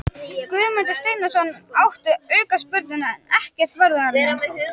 Guðmundur Steinarsson átti aukaspyrnuna en ekkert varð úr henni.